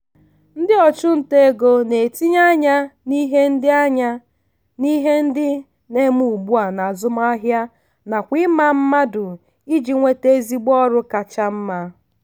ndị ọchụnta ego na-etinye anya n'ihe ndị anya n'ihe ndị na-eme ugbua n'azụmahịa nakwa ịma mmadụ iji nweta ezigbo ọrụ kacha mma.